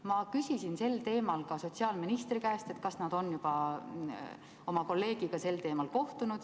Ma küsisin sel teemal ka sotsiaalministri käest, kas nad on juba oma kolleegiga sel teemal kohtunud.